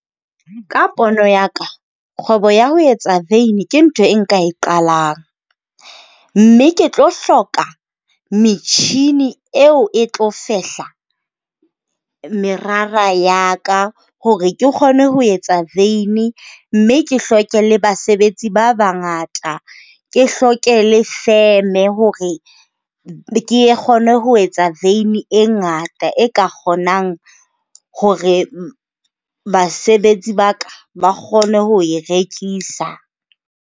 Ka pono ya ka, kgwebo ya ho etsa veini ke ntho e nka e qalang. Mme ke tlo hloka metjhini eo e tlo fehla merara ya ka hore ke kgone ho etsa veini mme ke hloke le basebetsi ba bangata, ke hloke le feme hore ke kgone ho etsa veini e ngata, e ka kgonang hore basebetsi ba ka ba kgone ho e rekisa.